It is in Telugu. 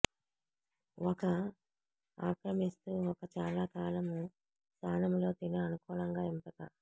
ఒక ఆక్రమిస్తూ ఒక చాలాకాలం స్థానంలో తినే అనుకూలంగా ఎంపిక